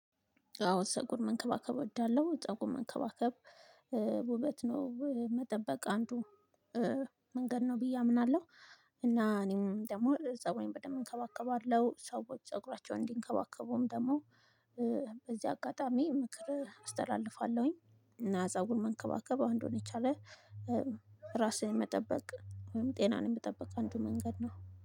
አዎ ፀጉር መንከባከብ እወዳለሁ ፀጉር መንከባከብ ውበት ነው መጠበቅ አንዱ መንገድ ነው ብዬ አምናለሁ። እና እኔም ደግሞ ፀጉሬን በደንብ እከባከባለሁ ሰዎች ፀጉራቸውን እንዲንከባከቡም ደግሞ። በዚህ አጋጣሚ ምክር አስተላልፋለሁኝ። እና ፀጉር መንከባከብእ አንዱን የቻለ ራስህን መጠበቅ ጤናን የመጠበቅ አንዱ መንገድ ነው